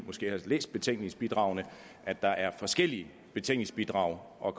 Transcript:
har læst betænkningsbidragene at der er forskellige betænkningsbidrag og